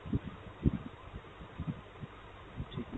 ঠিক আছে।